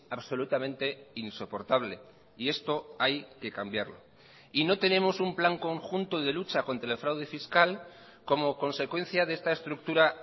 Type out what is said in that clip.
absolutamente insoportable y esto hay que cambiarlo y no tenemos un plan conjunto de lucha contra el fraude fiscal como consecuencia de esta estructura